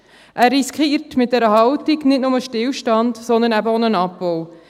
Er riskiert mit dieser Haltung nicht nur Stillstand, sondern eben auch einen Abbau.